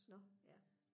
nå ja